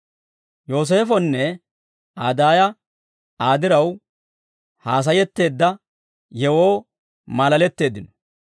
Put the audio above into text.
Yooseefonne Aa daaya Aa diraw haasayetteedda yewoo maalaletteeddino.